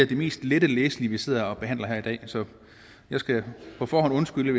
den mest lette læsning vi sidder og behandler her i dag så jeg skal på forhånd undskylde